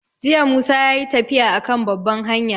Jiya Musa yayi tafiya a kan babban hanya